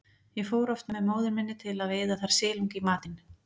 Ég fór oft með móður minni til að veiða þar silung í matinn.